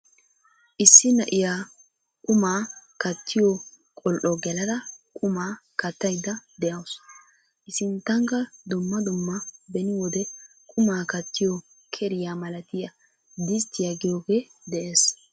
Issi na'iyaa qumaa kattiyoo qoli"o gelada qumaa kattayda de'awus. i sinttankka dumma dumma beni wode qumaa kattiyoo keriyaa malatiyaa disttiyaa giyoogee de'ees.